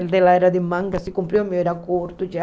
O dela era de manga, se cumpriu, o meu era curto já.